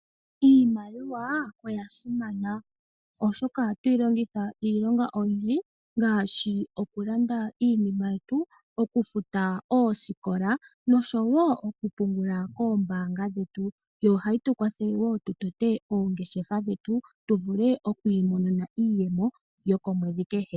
Iimaliwa oya simana oshoka ohatu yi longitha iilonga oyindji ngaashi oku landa iinima yetu, oku futa oosikola nosho woo oku pungula koombaanga dhetu . Yo ohayi tu kwathele woo, tu tote oongeshefa dhetu, tu vule okwii monena iiyemo yokomwedhi kehe.